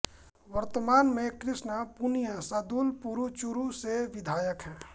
वर्तमान में कृष्णा पूनिया सादुलपुरचूरू से विधायक है